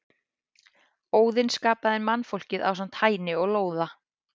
Óðinn skapaði mannfólkið ásamt Hæni og Lóða.